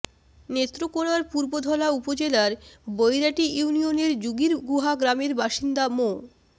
নেত্রকোনার পূর্বধলা উপজেলার বৈরাটি ইউনিয়নের জুগীরগুহা গ্রামের বাসিন্দা মো